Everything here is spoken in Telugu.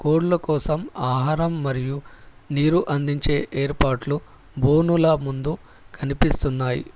కోడ్ల కోసం ఆహారం మరియు నీరు అందించే ఏర్పాట్లు బోనుల ముందు కనిపిస్తున్నాయి.